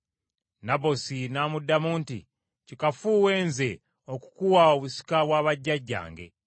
Nabosi n’amuddamu nti, “Kikafuuwe, nze okukuwa obusika bwa bajjajjange.”